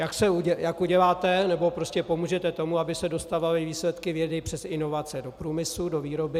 jak uděláte, nebo prostě pomůžete tomu, aby se dostávaly výsledky vědy přes inovace do průmyslu, do výroby;